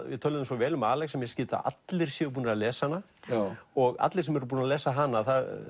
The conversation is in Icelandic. við töluðum svo vel um Alex að mér skilst að allir séu búnir að lesa hana og allir sem eru búnir að lesa hana